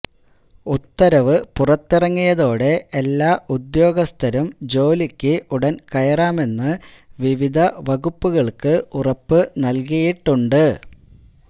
ഉത്തരവ് പുറത്തിറങ്ങിയതോടെ എല്ലാ ഉദ്യോഗസ്ഥരും ജോലിക്ക് ഉടന് കയറാമെന്ന് വിവിധ വകുപ്പുകള്ക്ക് ഉറപ്പ് നല്കിയിട്ടുണ്ട്